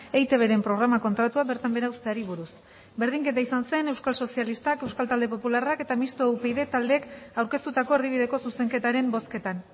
eitbren programa kontratua bertan behera uzteari buruz berdinketa izan zen euskal sozialistak euskal talde popularrak eta mistoa upyd taldeek aurkeztutako erdibideko zuzenketaren bozketan